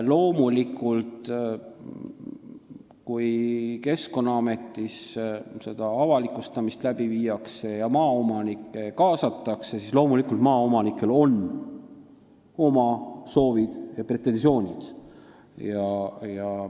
Loomulikult, kui Keskkonnaametis avalikustamist läbi viiakse ja maaomanikke kaasatakse, siis on maaomanikel oma soovid ja pretensioonid.